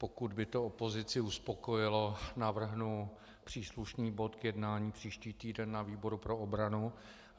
Pokud by to opozici uspokojilo, navrhnu příslušný bod k jednání příští týden na výboru pro obranu.